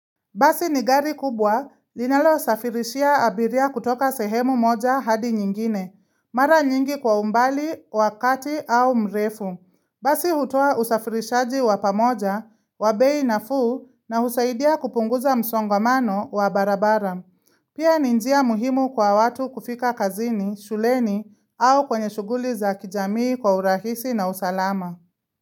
Basi ni gari kubwa linalosafirishia abiria kutoka sehemu moja hadi nyingine. Mara nyingi kwa umbali, wakati au mrefu. Basi hutoa usafirishaji wa pamoja, wa bei nafuu na husaidia kupunguza msongamano wa barabara. Pia ni njia muhimu kwa watu kufika kazini, shuleni au kwenye shughuli za kijamii kwa urahisi na usalama.